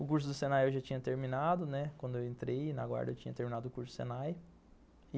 O curso do Senai eu já tinha terminado, né, quando eu entrei na guarda eu tinha terminado o curso do Senai.